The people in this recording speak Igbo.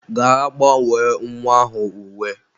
Gaa gbanwee nwa ahụ uwe.